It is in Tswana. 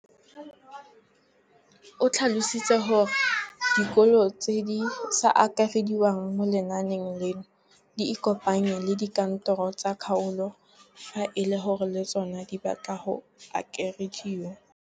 O tlhalositse gore dikolo tse di sa akarediwang mo lenaaneng leno di ikopanye le dikantoro tsa kgaolo fa e le gore le tsona di batla go akarediwa.